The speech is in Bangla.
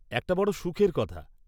একটা বড় সুখের কথা।